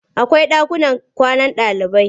Akwai ɗakunan kwanan ɗalibai.